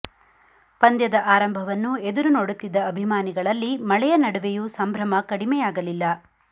ಪಂದ್ಯದ ಆರಂಭವನ್ನು ಎದುರು ನೋಡುತ್ತಿದ್ದ ಅಭಿಮಾನಿಗಳಲ್ಲಿ ಮಳೆಯ ನಡುವೆಯೂ ಸಂಭ್ರಮ ಕಡಿಮೆಯಾಗಲಿಲ್ಲ